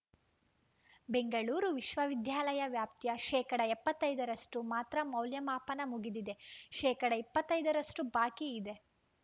ಬೆಂಗಳೂರು ವಿಶ್ವವಿದ್ಯಾಲಯ ವ್ಯಾಪ್ತಿಯ ಶೇಕಡಾ ಎಪ್ಪತ್ತ್ ಐದ ರಷ್ಟುಮಾತ್ರ ಮೌಲ್ಯಮಾಪನ ಮುಗಿದಿದೆ ಶೇಕಡಾ ಇಪ್ಪತ್ತ್ ಐದರಷ್ಟುಬಾಕಿ ಇದೆ